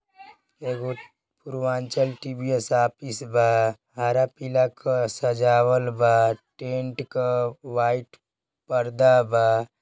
एगो Purvanchal TVS office बा। हरा पीला क सजावल बा। टेंट क वाइट पर्दा बा।